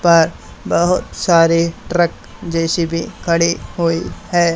पर बहोत सारे ट्रक जे_सी_बी खड़े हुई हैं।